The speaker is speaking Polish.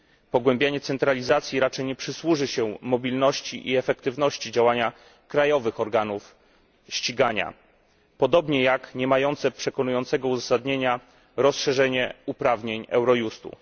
Pogłębianie centralizacji raczej nie przysłuży się mobilności i efektywności działania krajowych organów ścigania, podobnie jak niemające przekonywującego uzasadnienia rozszerzenie uprawnień Eurojustu.